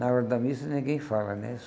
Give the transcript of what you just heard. Na hora da missa ninguém fala, né?